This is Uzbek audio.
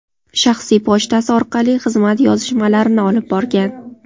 shaxsiy pochtasi orqali xizmat yozishmalarini olib borgan.